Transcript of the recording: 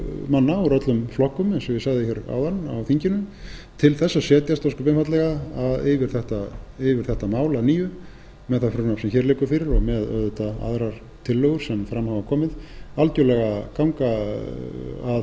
manna úr öllum flokkum eins og ég sagði hér áðan á þinginu til þess að setjast ósköp einfaldlega yfir þetta mál að nýju með það frumvarp sem hér liggur fyrir og með auðvitað aðrar tillögu sem fram hafa komið algjörlega ganga að